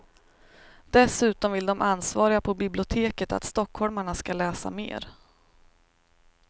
Dessutom vill de ansvariga på biblioteket att stockholmarna ska läsa mer.